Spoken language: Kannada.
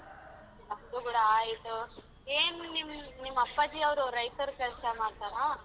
ನಮ್ದು ಕೂಡ ಆಯ್ತು. ಏನು ನಿಮ್~ ನಿಮ್ಮಪ್ಪಾಜಿ ಅವ್ರು ರೈತರ ಕೆಲ್ಸ ಮಾಡ್ತರ?